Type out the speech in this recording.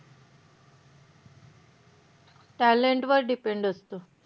Talent वर depend असत.